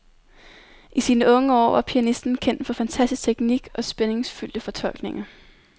I sine unge år var pianisten kendt for fantastisk teknik og spændingsfyldte fortolkninger.